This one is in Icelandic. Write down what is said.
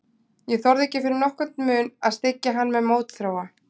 Ég þorði ekki fyrir nokkurn mun að styggja hann með mótþróa.